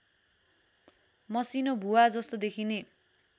मसिनो भुवाजस्तो देखिने